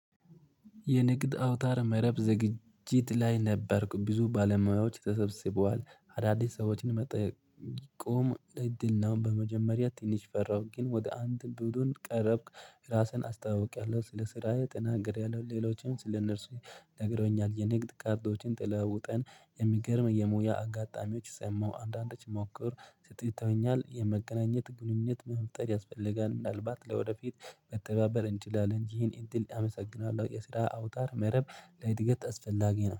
የንግድ አውታር መረብ ዝግጅት ላይ ነበርኩ ብዙ ባለሙያዎች ተሰብስበዋል አዳዲስ ሰዎች ቆም እድል ነው። በመጀመሪያ ትንሽ ፈራሁ ግን ወደ አንድ ብሎን ቀረብክ ራስህን አስታውቂያለሁ ስለ ስራዬ ተናግሬያለሁ። ሌሎችን ስለ እነርሱ ነግረውኛል። የንግድ ካርዶችን ተለዋውጠን የሚገርም የሙያ አጋጣሚዎች ሰማሁ። አንዳንዶች ሞክር ስጥተውኛል የመገናኘት ግንኙነት መፍጠር ያስፈልጋል። ምናልባት ለወደፊት መተባበር እንችላለን። ይሄን እድል አመሰግናለሁ። የስራ አውታር መረብ ለእድገት አስፈላጊ ነው